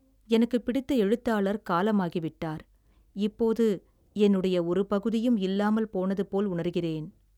எனக்கு பிடித்த எழுத்தாளர் காலமாகி விட்டார், இப்போது என்னுடைய ஒரு பகுதியும் இல்லாமல் போனது போல் உணர்கிறேன்.